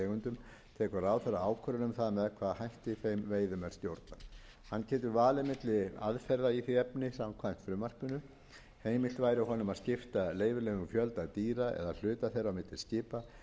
um það með hvaða hætti þeim veiðum er stjórnað hann getur valið milli aðferða í því efni samkvæmt frumvarpinu heimilt væri honum að skipta leyfilegum fjölda dýra eða hluta þeirra á milli skipa